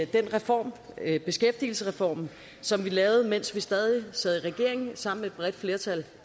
den reform beskæftigelsesreformen som vi lavede mens vi stadig sad i regering sammen med et bredt flertal